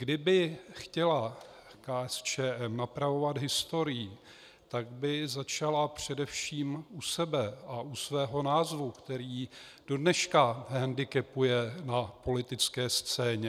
Kdyby chtěla KSČM napravovat historii, tak by začala především u sebe a u svého názvu, který ji dodneška hendikepuje na politické scéně.